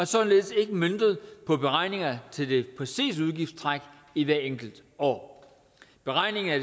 således ikke møntet på beregninger til det præcise udgiftstræk i hvert enkelt år beregningen af